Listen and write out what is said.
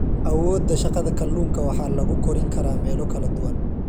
Awoodda Shaqada Kalluunka waxaa lagu korin karaa meelo kala duwan.